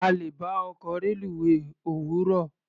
A lè bá ọkọ̀ reluwé òwúrọ̀.